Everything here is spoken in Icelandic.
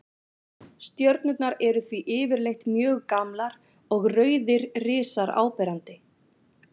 Stjörnurnar eru því yfirleitt mjög gamlar og rauðir risar áberandi.